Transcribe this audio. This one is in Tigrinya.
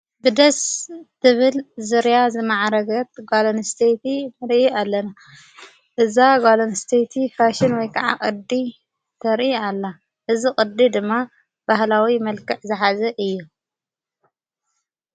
ብደስ ትብል ዙርያ ዝመዓረገት ጓል ኣንስተይቲ ንርኢ ኣለና እዛ ጓል ኣንስተይቲ ፋሽን ወይ ከዓ ቕዲ ተርኢ ኣላ እዝ ቕዲ ድማ ባህላዊ መልከዕ ዘሓዘ እዩ።